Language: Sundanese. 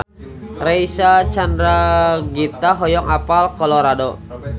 Reysa Chandragitta hoyong apal Colorado